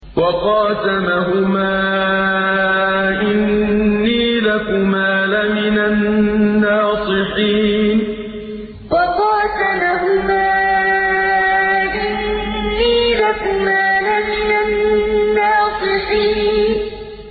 وَقَاسَمَهُمَا إِنِّي لَكُمَا لَمِنَ النَّاصِحِينَ وَقَاسَمَهُمَا إِنِّي لَكُمَا لَمِنَ النَّاصِحِينَ